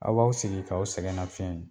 Aw baw sigi k'aw sɛgɛnna fiɲɛ.